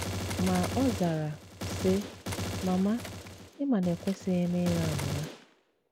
Ma ọ zara, sị, “ Mama ị ma na ekwesịghị m ịgha ụgha.